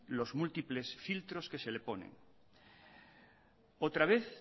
los múltiples filtros que se le ponen otra vez